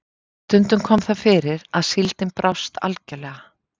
Stundum kom það fyrir að síldin brást algjörlega.